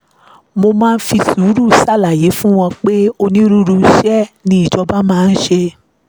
mo máa ń fi sùúrù ṣàlàyé fún wọn pé onírúurú iṣẹ́ ni ìjọba máa ń ṣe